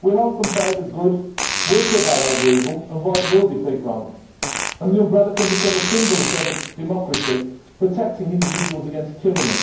We hope and pray that good will prevail over evil and right will defeat wrong, and that the umbrella can become a symbol of democracy, protecting individuals against tyranny.